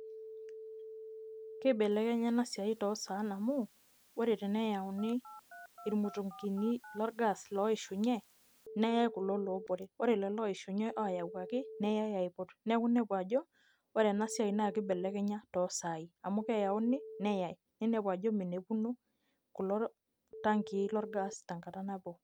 Kibelekenya enasiai tosaan amu, ore teneyauni irmutunkini lorgas loishunye, neyai kulo lobore. Ore kulo oishinye oyawuaki, neyai aiput. Neeku nepu ajo, ore enasiai naibelekenya tosai. Amu keyauni, neyai. Ninepu ajo minepuno kulo tankii lorgas tenkata nabo.